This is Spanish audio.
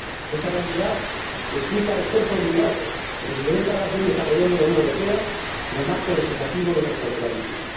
Esta realidad explica el esfuerzo obligado que, desde décadas, viene desarrollando la Unión Europea en el marco legislativo del transporte marítimo.